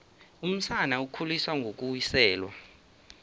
umsana ukhuliswa ngokuwiselwa